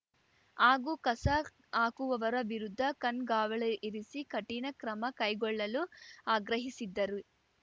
ಹಾಗೂ ಕಸ ಹಾಕುವವರ ವಿರುದ್ಧ ಕಣ್ಗಾವಲಿಇರಿಸಿ ಕಠಿಣ ಕ್ರಮ ಕೈಗೊಳ್ಳಲು ಆಗ್ರಹಿಸಿದ್ದರು